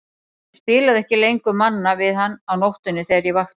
Ég spilaði ekki lengur Manna við hann á nóttunni þegar ég vakti.